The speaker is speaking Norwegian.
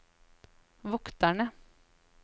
vokterne